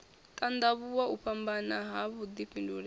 tandavhuwa u fhambanya ha vhudifhinduleli